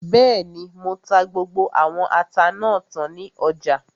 Bẹ́ẹ̀ni, mo ta gbogbo àwọn ata náà tán ní ọjà